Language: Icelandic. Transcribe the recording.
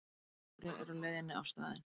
Lögregla er á leiðinni á staðinn